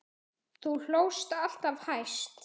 Þú hlóst alltaf hæst.